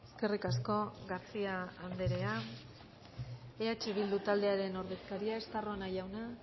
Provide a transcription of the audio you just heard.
eskerrik asko garcía anderea eh bildu taldearen ordezkaria